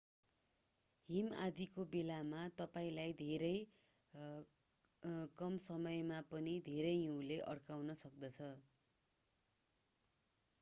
हिम आँधीको बेलामा तपाईंलाई धेरै कम समयमा पनि धेरै हिउँले अड्काउन सक्दछ